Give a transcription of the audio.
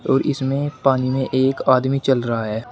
और इसमें पानी में एक आदमी चल रहा है।